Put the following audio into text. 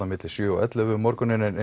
á milli sjö og ellefu um morguninn en